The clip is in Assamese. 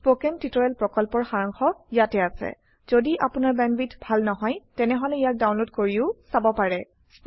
স্পোকেন টিউটোৰিয়েল প্ৰকল্পৰ সাৰাংশ ইয়াত আছে যদি আপোনাৰ বেণ্ডৱিডথ ভাল নহয় তেনেহলে ইয়াক ডাউনলোড কৰি চাব পাৰে